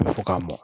Bɛ fɔ k'a mɔ